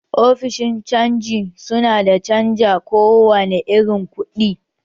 Ofishin canji su na canja kowane irin ku, ɗi